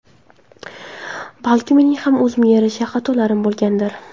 Balki mening ham o‘zimga yarasha xatolarim bo‘lgandir.